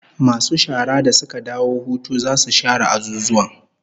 Masu shara da suka dawo hutu zasu share azuzuwan